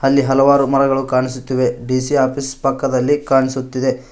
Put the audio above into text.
ಅಲ್ಲಿ ಹಲವರು ಮರಗಳು ಕಾಣಿಸುತ್ತಿವೆ ಡಿ_ಸಿ ಆಫೀಸ್ ಪಕ್ಕದಲ್ಲಿ ಕಾಣಿಸುತ್ತಿದೆ.